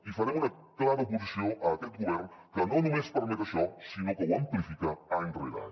i farem una clara oposició a aquest govern que no només permet això sinó que ho amplifica any rere any